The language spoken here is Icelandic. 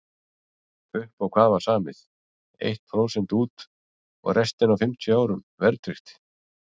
Upp á hvað var samið, eitt prósent út og restina á fimmtíu árum verðtryggt?